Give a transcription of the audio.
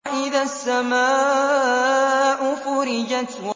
وَإِذَا السَّمَاءُ فُرِجَتْ